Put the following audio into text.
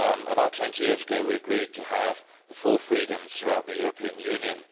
About 20 years ago we agreed to have the four freedoms throughout the European Union.